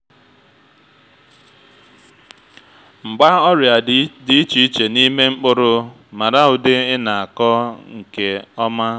mgba ọrịa dị iche iche n’ime mkpụrụ mara ụdị ị na-akọ nke ọma.